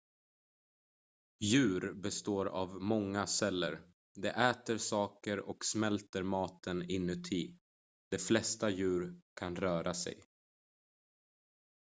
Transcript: djur består av många celler de äter saker och smälter maten inuti de flesta djur kan röra sig